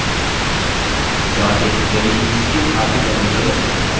configuration चार steps में होता है